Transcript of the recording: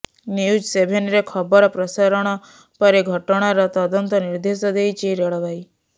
news ସେଭେନରେ ଖବର ପ୍ରସାରଣ ପରେ ଘଟଣାର ତଦନ୍ତ ନିର୍ଦ୍ଦେଶ ଦେଇଛି ରେଳବାଇ